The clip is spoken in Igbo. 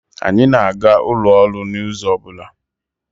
Anyị na-aga ụlọ ọrụ n'izu ọbụla.